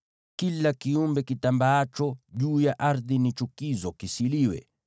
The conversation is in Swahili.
“ ‘Kila kiumbe kitambaacho juu ya ardhi ni chukizo; kisiliwe.